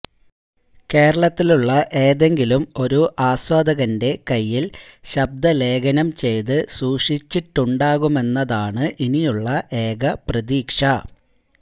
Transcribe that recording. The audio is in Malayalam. കേരളത്തിലുള്ള ഏതെങ്കിലും ഒരു ആസ്വാദകന്റെ കൈയ്യിൽ ശബ്ദലേഖനം ചെയ്ത് സൂക്ഷിച്ചിട്ടുണ്ടാകുമെന്നതാണ് ഇനിയുള്ള ഏക പ്രതീക്ഷ